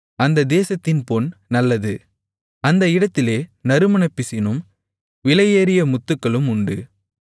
அந்த தேசத்தின் பொன் நல்லது அந்த இடத்திலே நறுமணப்பிசினும் விலையேறிய முத்துகளும் உண்டு